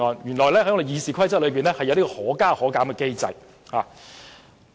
原來《議事規則》是有可加可減機制的。